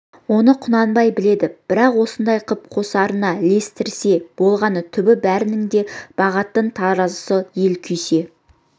оны құнанбай біледі бірақ осындай қып қосарына ілестірсе болғаны түбі бәрінің де бағатын таразысы ел күйсе